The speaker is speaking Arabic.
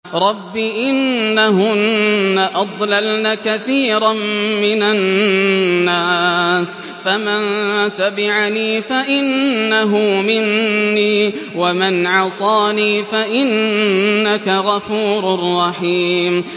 رَبِّ إِنَّهُنَّ أَضْلَلْنَ كَثِيرًا مِّنَ النَّاسِ ۖ فَمَن تَبِعَنِي فَإِنَّهُ مِنِّي ۖ وَمَنْ عَصَانِي فَإِنَّكَ غَفُورٌ رَّحِيمٌ